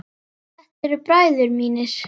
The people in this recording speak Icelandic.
Þetta eru bræður mínir.